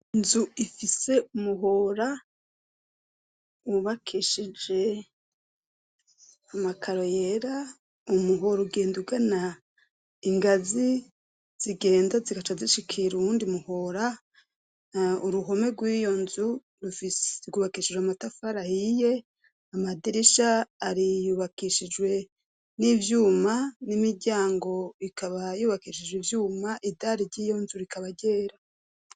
Inzu ifise umuhora wubakishije amakaro yera, umuhora ugenda ugana ingazi zigenda zigaca zishikira uwundi muhora, uruhome rw'iyo nzu rwubakishijwe amatafari ahiye, amadirisha ari yubakishijwe n'ivyuma n'imiryango ikaba yubakishijwe ivyuma, idari ry'iyo nzu rikaba ryera.